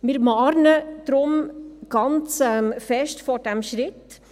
Wir warnen deshalb ganz stark vor diesem Schritt.